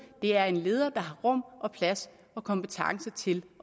det er en leder der har rum og plads og kompetence til